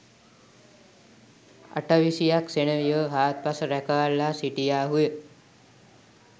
අටවිසි යක් සෙනෙවියෝ හාත්පස රැකවල්ලා සිටියාහුය